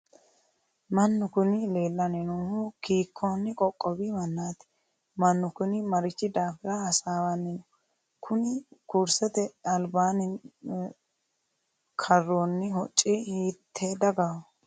mannu kuni leellanni noohu kiikkonni qoqqowi mannaati? mannu kuni marichi daafira hasaawanni no? kuni kursete albaanni karroonni hocci hiitte dagaho?